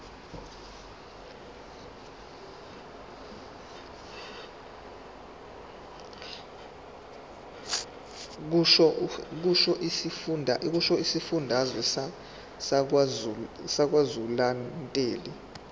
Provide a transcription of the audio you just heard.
kusho isifundazwe sakwazulunatali